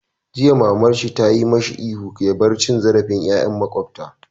Jiya naji mamar shi tayi masa ihun ya bar cin zarafin yaran makwabta!